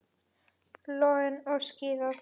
Logn og skýjað.